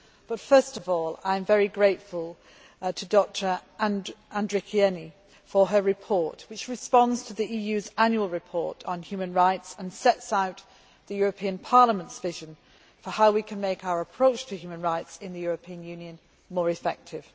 But first of all I am very grateful to Dr Andrikienė for her report which responds to the EU's annual report on human rights and sets out the European Parliament's vision for how we can make our approach to human rights in the European Union more effective.